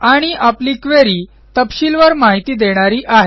आणि आपली क्वेरी तपशीलवार माहिती देणारी आहे